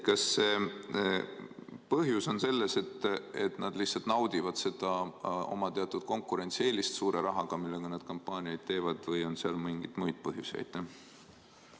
Kas põhjus on selles, et nad lihtsalt naudivad seda oma teatud konkurentsieelist suure rahaga, millega nad kampaaniaid teevad, või on seal mingeid muid põhjusi?